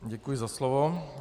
Děkuji za slovo.